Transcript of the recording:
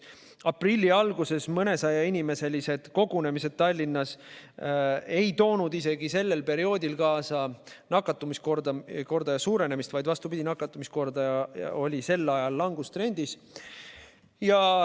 Aprilli alguses mõnesajainimeselised kogunemised Tallinnas ei toonud kaasa nakatumiskordaja suurenemist, vaid vastupidi, nakatumiskordaja oli sel ajal langustrendis.